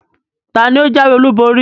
Taàní ó jáwé olú borí?